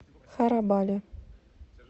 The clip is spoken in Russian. харабали